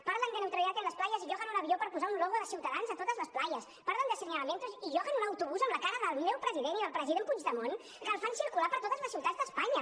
parlen de neutralidad en las playas i lloguen un avió per posar un logo de ciutadans a totes les de señalamientos y lloguen un autobús amb la cara del meu president i del president puigdemont que el fan circular per totes les ciutats d’espanya